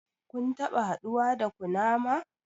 Kun taɓa haduwa da kunama?